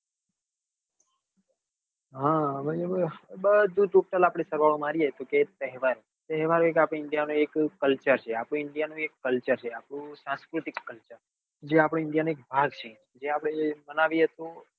હા બરાબર બધું total આપડે સરવાળો મારીએ તો કે તહેવાર તહેવાર એક આપડે india નો એક culter છે આપડું india નું એક culter છે આપડું સંસ્કૃતિક culter આજે આપડો india નો એક ભાગ છે જે આપડે માનવી એ તો